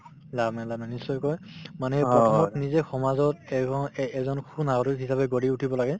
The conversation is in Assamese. লাভ নাই লাভ নাই নিশ্চয়কৈ মানে প্ৰথমত নিজে সমাজত এগনএ এজন সুনাগৰিক হিচাপে গঢ়ি উঠিব লাগে